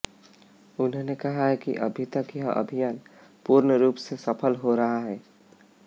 उन्होने कहा कि अभी तक यह अभियान पूर्ण रूप से सफल रहा है